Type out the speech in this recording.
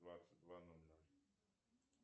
двадцать два ноль ноль